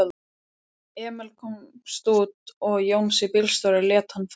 Emil komst út og Jónsi bílstjóri lét hann fá hjólið.